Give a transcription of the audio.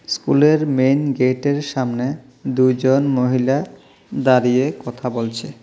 School -এর main gate -এর সামনে দুই জন মহিলা দাঁড়িয়ে কথা বলছে।